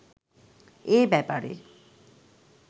এ ব্যাপারে